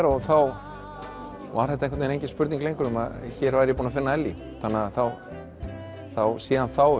og þá var þetta engin spurning lengur um að ég væri búinn að finna Ellý síðan þá